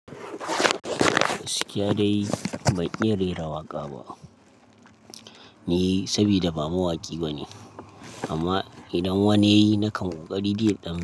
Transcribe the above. Gaskiya dai ban iya rera waƙa ba ni, sabida ba mawaƙi bane. Amma idan wani ya yi, na ko ƙari dai ɗan.